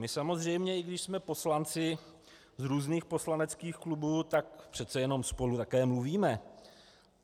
My samozřejmě, i když jsme poslanci z různých poslaneckých klubů, tak přece jenom spolu také mluvíme.